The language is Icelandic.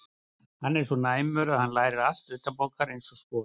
Hann er svo næmur að hann lærir allt utanbókar eins og skot.